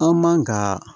An man ka